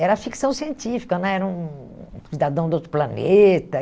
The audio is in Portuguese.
Era ficção científica né, era um cidadão do outro planeta.